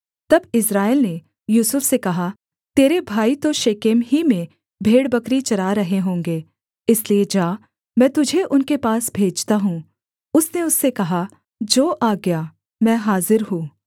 तब इस्राएल ने यूसुफ से कहा तेरे भाई तो शेकेम ही में भेड़बकरी चरा रहे होंगे इसलिए जा मैं तुझे उनके पास भेजता हूँ उसने उससे कहा जो आज्ञा मैं हाजिर हूँ